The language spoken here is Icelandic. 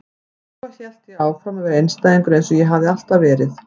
Svo hélt ég áfram að vera einstæðingur eins og ég hafði alltaf verið.